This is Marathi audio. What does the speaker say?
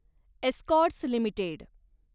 Escorts limited